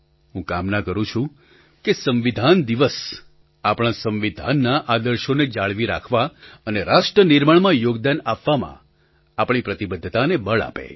હું કામના કરું છું કે સંવિધાન દિવસ આપણા સંવિધાનના આદર્શોને જાળવી રાખવા અને રાષ્ટ્ર નિર્માણમાં યોગદાન આપવામાં આપણી પ્રતિબદ્ધતાને બળ આપે